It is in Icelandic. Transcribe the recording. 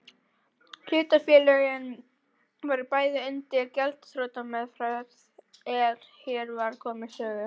Hlutafélögin voru bæði undir gjaldþrotameðferð er hér var komið sögu.